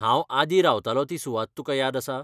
हांव आदीं रावतालों ती सुवात तुका याद आसा?